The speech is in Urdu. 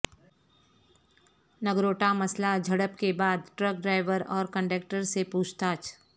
نگروٹہ مسلح جھڑپ کے بعد ٹرک ڈرائیور اور کنڈیکٹر سے پوچھ تاچھ